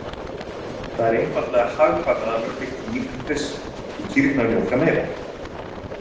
Það er einfaldlega hagkvæmara að mjólka kýr en hryssur, því kýrnar mjólka meira.